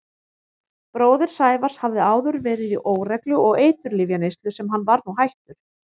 Bróðir Sævars hafði áður verið í óreglu og eiturlyfjaneyslu sem hann var nú hættur.